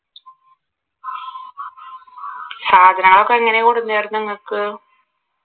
സാധനങ്ങൾ ഒക്കെ നിങ്ങൾക്ക്?